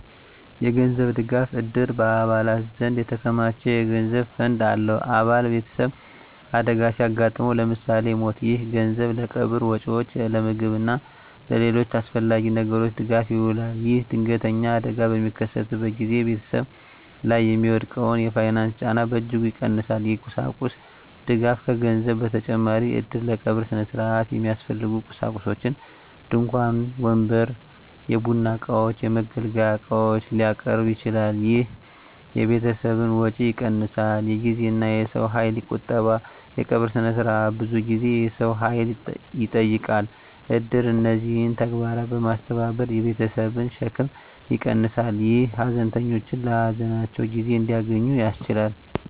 የገንዘብ ድጋፍ: እድር በአባላት ዘንድ የተከማቸ የገንዘብ ፈንድ አለው። አባል ቤተሰብ አደጋ ሲያጋጥመው (ለምሳሌ ሞት)፣ ይህ ገንዘብ ለቀብር ወጪዎች፣ ለምግብ እና ለሌሎች አስፈላጊ ነገሮች ድጋፍ ይውላል። ይህም ድንገተኛ አደጋ በሚከሰትበት ጊዜ ቤተሰብ ላይ የሚወድቀውን የፋይናንስ ጫና በእጅጉ ይቀንሳል። የቁሳቁስ ድጋፍ: ከገንዘብ በተጨማሪ እድር ለቀብር ሥነ ሥርዓት የሚያስፈልጉ ቁሳቁሶችን (ድንኳን፣ ወንበር፣ የቡና እቃዎች፣ የመገልገያ ዕቃዎች) ሊያቀርብ ይችላል። ይህ የቤተሰብን ወጪ ይቀንሳል። የጊዜና የሰው ኃይል ቁጠባ: የቀብር ሥነ ሥርዓት ብዙ ጊዜና የሰው ኃይል ይጠይቃል። እድር እነዚህን ተግባራት በማስተባበር የቤተሰብን ሸክም ይቀንሳል፣ ይህም ሀዘንተኞች ለሀዘናቸው ጊዜ እንዲያገኙ ያስችላል።